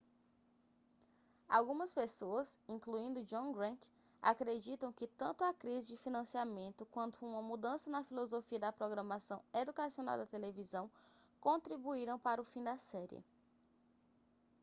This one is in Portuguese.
algumas pessoas incluindo john grant acreditam que tanto a crise de financiamento quanto uma mudança na filosofia da programação educacional da televisão contribuíram para o fim da série